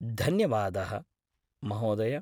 धन्यवादाः महोदय!